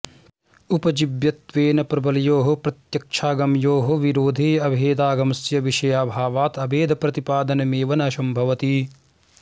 उपजीव्यत्वेन प्रबलयोः प्रत्यक्षागमयोः विरोधे अभेदागमस्य विषयाभावात् अभेदप्रतिपादनमेव न संभवति